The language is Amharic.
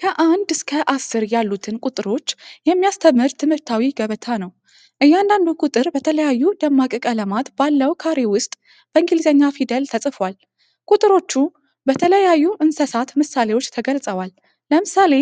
ከአንድ እስከ አስር ያሉትን ቁጥሮች የሚያስተምር ትምህርታዊ ገበታ ነው። እያንዳንዱ ቁጥር በተለያዩ ደማቅ ቀለማት ባለው ካሬ ውስጥ በእንግሊዝኛ ፊደል ተጽፏል። ቁጥሮቹ በተለያዩ እንስሳት ምሳሌዎች ተገልጸዋል፤ ለምሳሌ፡